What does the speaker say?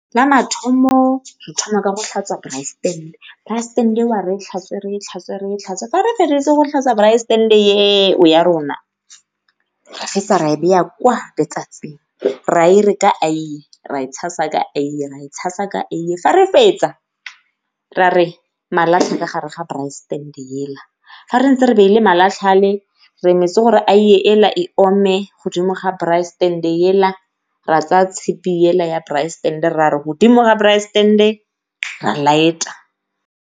La mathomo re thoma ka go tlhatswa braai stand-e, braai stand-e eo re e tlhatswe, re e tlhatswe, re e tlhatswe fa re feditse go tlhatswa braai stand-e eo ya rona. Ra fetsa ra e kwa letsatsing ra e re ka aiye, ra e tshasa ka aiye, ra e tshasa ka aiye ga re fetsa ra re malatlha ka gare ga braai stand-e ga rentse re beile malatlha a le re emetse gore aiye e ome mo godimo ga braai stand-e ra tsaya tshipi ya braai stand-e ra re godimo ga braai stand-e ra light-a.